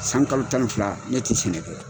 San kalo tan ni fila ne tɛ sɛnɛ kɛ.